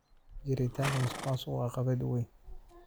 Jiritaanka musuqmaasuqu waa caqabad weyn.